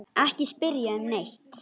Ekki spyrja um neitt.